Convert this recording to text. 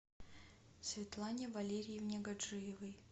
светлане валерьевне гаджиевой